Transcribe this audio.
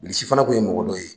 Bilisi fana tun ye mɔgɔ dɔ ye